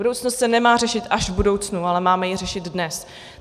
Budoucnost se nemá řešit až v budoucnu, ale máme ji řešit dnes.